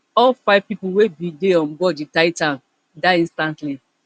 all five pipo wey bin dey on board di titan die instantly